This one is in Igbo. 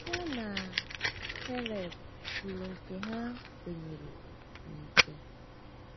Ya na um Kaleb kwuru nke ha kwenyere n’ike. um